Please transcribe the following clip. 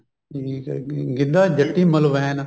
ਜਿੰਨੀ ਕ ਹੈਗੀ ਗਿੱਧਾ ਜੱਟੀ ਮਲਵੈਨ